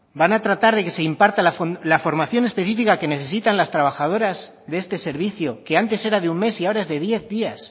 van a tratar de que se imparta la formación específica que necesitan las trabajadoras de este servicio que antes era de un mes y ahora es de diez días